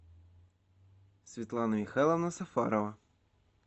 светлана михайловна сафарова